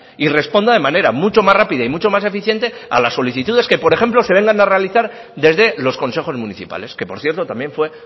y responda de manera mucho más rápida y mucho más eficiente a las solicitudes que por ejemplo se vengan a realizar desde los consejos municipales que por cierto también fue